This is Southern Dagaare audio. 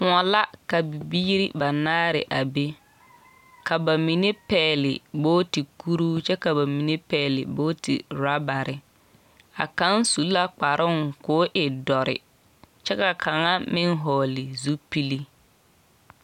Kõɔ la ka bibiiri banaare a be. Ka ba mine pɛɛle booti kuruu, ka ba mine pɛɛle booti rabare. A kão su la kparoŋ koo e dɔre. Kyɛ ka kaŋa meŋ hɔɔle zulpili.